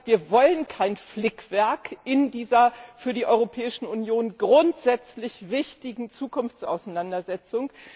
Wir wollen kein Flickwerk in dieser für die Europäische Union grundsätzlich wichtigen Zukunftsauseinandersetzung.